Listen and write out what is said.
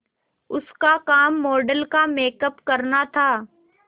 उसका काम मॉडल का मेकअप करना था